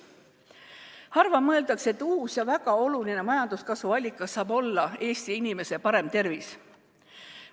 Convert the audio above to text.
Harva mõeldakse, et uus ja väga oluline majanduskasvu allikas võiks olla Eesti inimese parem tervis.